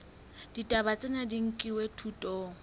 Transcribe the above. ditaba tsena di nkilwe thutong